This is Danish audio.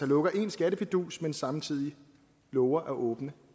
lukker en skattefidus men samtidig lover at åbne